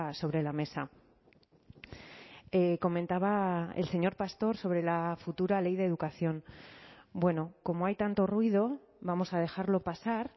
sobre la mesa comentaba el señor pastor sobre la futura ley de educación bueno como hay tanto ruido vamos a dejarlo pasar